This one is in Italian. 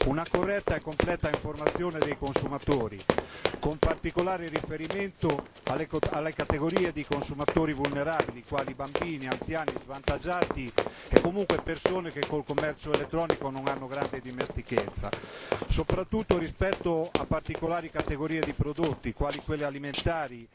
una corretta e completa informazione dei consumatori, con particolare riferimento alle categorie di consumatori vulnerabili quali i bambini, anziani svantaggiati e comunque persone che con il commercio elettronico non hanno grande dimestichezza, soprattutto rispetto a particolari categorie di prodotti quali quelli alimentari,